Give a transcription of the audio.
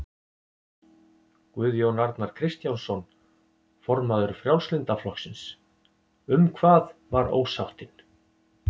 Guðjón Arnar Kristjánsson, formaður Frjálslynda flokksins: Um hvað var ósáttin?